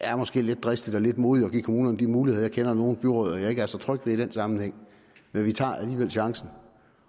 er måske lidt dristigt og lidt modigt at give kommunerne de muligheder jeg kender nogle byrødder jeg ikke er så trygge ved i den sammenhæng men vi tager alligevel chancen